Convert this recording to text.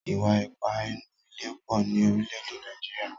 Ìwà ipá nínú ilé pọ̀ ní orílẹ̀ èdè Nàìjíríà.